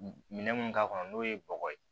Minɛn mun k'a kɔnɔ n'o ye bɔgɔ ye